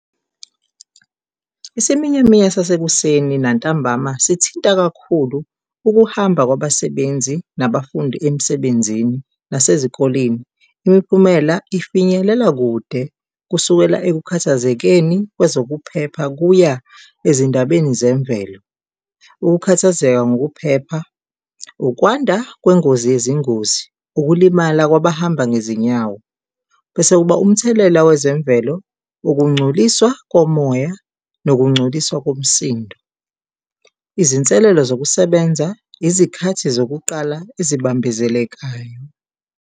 Isiminyaminya sasekuseni nantambama sithinta kakhulu ukuhamba kwabasebenzi nabafundi emsebenzini nasezikoleni. Imiphumela ifinyelela kude kusukela ekukhathazekeni kwezokuphepha kuya ezindabeni zemvelo. Ukukhathazeka ngokuphepha, ukwanda kwengozi yezingozi, ukulimala kwabahamba ngezinyawo. Bese kuba umthelela wezemvelo, ukungcoliswa komoya nokungcoliswa komsindo. Izinselelo zokusebenza, izikhathi zokuqala ezibambezelekayo.